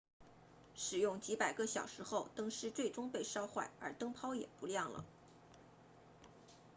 使用几百个小时后灯丝最终被烧坏而灯泡也不亮了